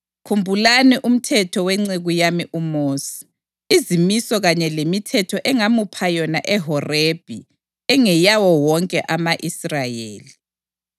“Khumbulani umthetho wenceku yami uMosi, izimiso kanye lemithetho engamupha yona eHorebhi ingeyawo wonke ama-Israyeli.